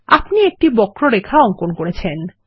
আপনি একটি বক্র রেখা অঙ্কন করেছেন160